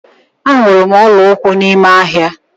Ahụrụ m ọla ụkwụ n'ime ahịa.